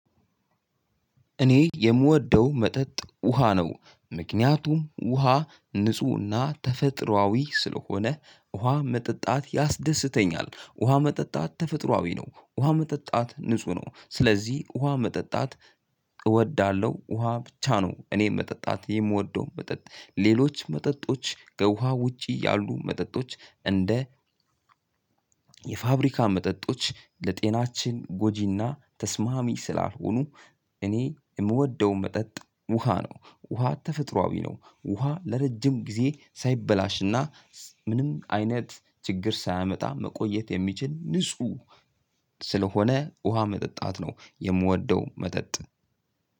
እኔ የምወደው መጠጥ ውሃ ነው ምክንያቱም ውሃ ንፁህና ተፈጥሯዊ ስለሆነ ውሃ መጠጣት ያስደስተኛል ውሃ መጠጣት ተፈጥሯዊ ነው ውሃ መጠጣት ንጹህ ነው ስለዚህ ውሃ መጠጣት እወዳለሁ። ውሃ ብቻ ነው እኔም መጠጣት የምወደው መጠጥ ሌሎች መጠጦች ከውሃ ውጪ እያሉ መጠጦች እንደ የፋብሪካ መጠጦች ለጤናችን ጎጂና ተስማሚ ስላልሆኑ። እኔ የምወደውን መጠጥ ውሃ ነው። ውሃ ተፈጥሯዊ ነው። ውሃ ለረጅም ጊዜ ሳይበላሽና ምንም አይነት ችግር ሳያመጣ መቆየት የሚችል ንጹህ ስለሆነ ውሃ መጠጣት ነው የምወደው። መጠጥ